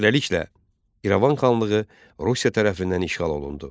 Beləliklə İrəvan xanlığı Rusiya tərəfindən işğal olundu.